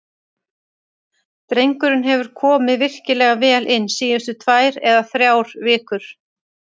Drengurinn hefur komið virkilega vel inn síðustu tvær eða þrjár vikur.